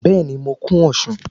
Bẹ́ẹ̀ni, mo kun osùn